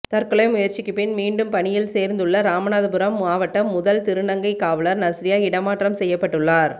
தற்கொலை முயற்சிக்குப் பின் மீண்டும் பணியில் சேர்ந்துள்ள ராமநாதபுரம் மாவட்ட முதல் திருநங்கை காவலர் நஸ்ரியா இடமாற்றம் செய்யப்பட்டுள்ளார்